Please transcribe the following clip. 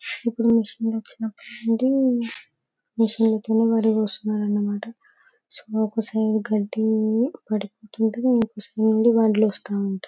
ఇప్పుడు వర్షం వచ్చినప్పటి నుండి కూర్చున్నారు అన్నమాట. ఇంకో సైడ్ నుండి బండ్లు